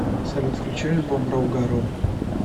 салют включи альбом роугароу